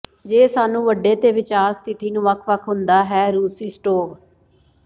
ਜੇ ਸਾਨੂੰ ਵੱਡੇ ਤੇ ਵਿਚਾਰ ਸਥਿਤੀ ਨੂੰ ਵੱਖ ਵੱਖ ਹੁੰਦਾ ਹੈ ਰੂਸੀ ਸਟੋਵ